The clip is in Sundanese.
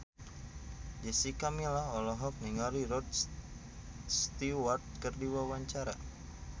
Jessica Milla olohok ningali Rod Stewart keur diwawancara